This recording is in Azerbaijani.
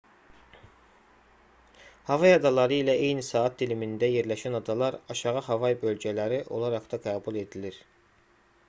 havay adaları ilə eyni saat dilimində yerləşən adalar aşağı havay bölgələri olaraq da qəbul edilir